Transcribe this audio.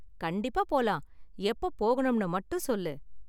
கண்டிப்பா போலாம், எப்ப போகணும்னு மட்டும் சொல்லு.